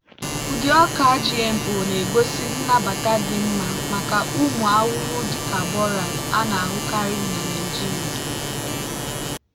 ụdị ọka gmo na-egosi nnabata dị mma maka ụmụ ahụhụ dị ka borers a na-ahụkarị na nigeria.